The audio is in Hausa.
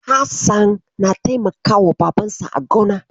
Hassan na taimakawa Babansa a gona.